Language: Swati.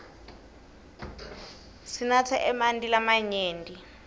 sinatse emanti lamanyenti